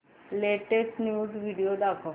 latest news video दाखव